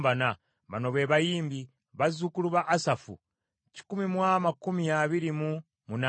Bano be bayimbi: bazzukulu ba Asafu kikumi mu amakumi abiri mu munaana (128).